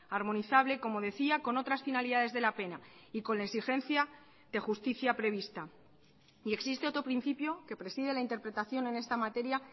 armonizable como decía con otras finalidades de la pena y con la exigencia de justicia prevista y existe otro principio que preside la interpretación en esta materia